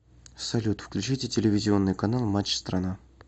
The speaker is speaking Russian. салют включите телевизионный канал матч страна